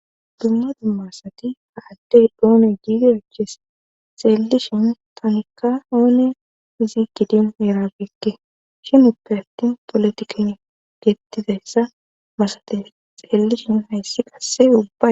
dumma dummasati ha addey doone giida aches xeellishin tanikka oone izi gidin erabeekke shin uppe attin polotikin geettizayssa masate xeeellishin hayssi qasse ubba